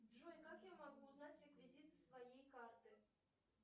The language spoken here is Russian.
джой как я могу узнать реквизиты своей карты